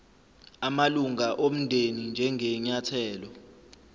amalunga omndeni njengenyathelo